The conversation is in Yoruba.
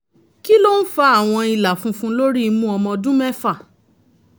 kí ló ń fa àwọn ilà funfun lórí imú ọmọ ọdún mẹ́fà?